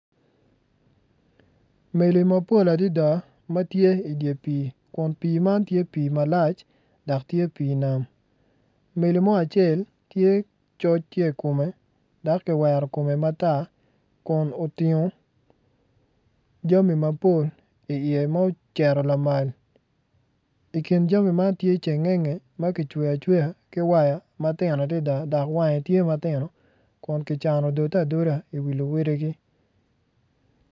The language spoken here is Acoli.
Meli mapola adada ma tye idye pii kun pii man tye pii malac dok tye pii nam meli mo acel tye coc tye i kome dok kiwero kome matar kun otingo jami mapol iye ma ocito lamal i kin jami man tye cengenge ma kiceyo acweya ki waya ma tino adada dok wange tye matino kun kicano odode adoda iwi luwotgi.